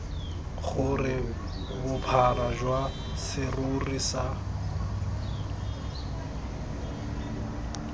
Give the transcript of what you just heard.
gore bophara jwa serori sa